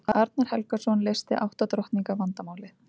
arnar helgason leysti átta drottninga vandamálið